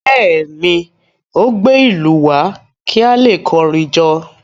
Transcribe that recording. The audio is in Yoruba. Bẹ́ẹ̀ ni, ó gbé ìlú wá kí a lè kọrin jó.